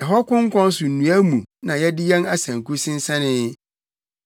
Ɛhɔ konkɔn so nnua mu na yɛde yɛn asanku sensɛnee,